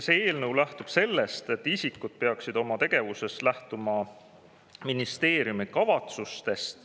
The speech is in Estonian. See eelnõu lähtub sellest, et isikud peaksid oma tegevuses lähtuma ministeeriumi kavatsustest.